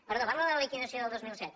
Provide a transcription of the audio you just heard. perdó parla de la liquidació del dos mil set